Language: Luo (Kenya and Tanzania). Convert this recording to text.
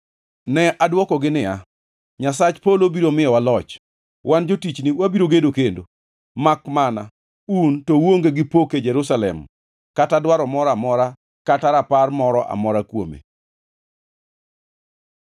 Ne adwokogi niya, “Nyasach polo biro miyowa loch. Wan jotichne wabiro gedo kendo, makmana un, to uonge gi pok e Jerusalem kata dwaro moro amora kata rapar moro amora kuome.”